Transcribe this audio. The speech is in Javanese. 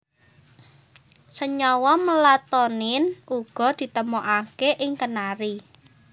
Senyawa melatonin uga ditemokaké ing kenari